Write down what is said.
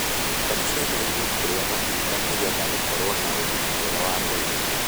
Ciana ciagĩrĩirwo kũrĩa matunda nĩgetha cikorwo na ũgima mwega wa mwĩri